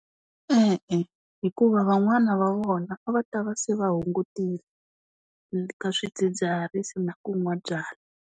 E-e, hikuva van'wana va vona, a va ta va se va hungutile, ka swidzidziharisi ku nwa byala.